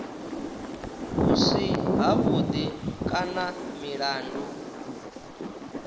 vhu si havhuḓi kana milandu